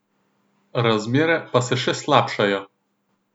Razmere pa se še slabšajo.